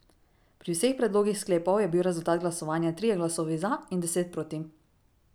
Pri vseh predlogih sklepov je bil rezultat glasovanja trije glasovi za in deset proti.